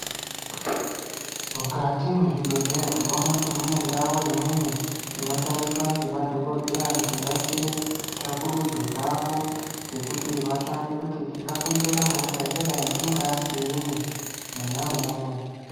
Mukati mwezvibhedhlera tinoone kuti mune ndau imweni inoshandiswa ngemadhokodheya kuti vaite tsvagurudzo dzavo dzekuti vatsvake kuti chingakonzeresa hosha yakadai chingaa chiinyi mwona umwomwo.